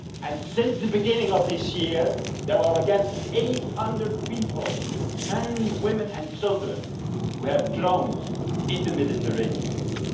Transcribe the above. And since the beginning of this year, there are 800 people, men, women and children, who have drowned in the Mediterranean Sea.